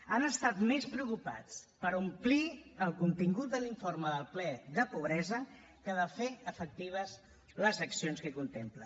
han estat més preocupats per omplir el contingut de l’informe del ple de pobresa que de fer efectives les accions que contempla